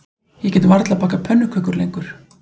Ég get varla bakað pönnukökur lengur